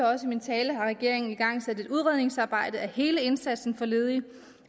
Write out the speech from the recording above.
også i min tale har regeringen igangsat et udredningsarbejde af hele indsatsen over for ledige